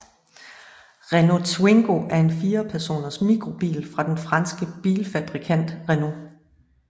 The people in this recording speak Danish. Renault Twingo er en firepersoners mikrobil fra den franske bilfabrikant Renault